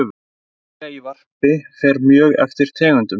Fjöldi eggja í varpi fer mjög eftir tegundum.